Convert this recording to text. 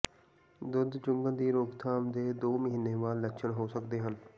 ਦੁੱਧ ਚੁੰਘਣ ਦੀ ਰੋਕਥਾਮ ਦੇ ਦੋ ਮਹੀਨੇ ਬਾਅਦ ਲੱਛਣ ਹੋ ਸਕਦੇ ਹਨ